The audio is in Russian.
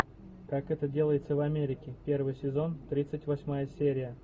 как это делается в америке первый сезон тридцать восьмая серия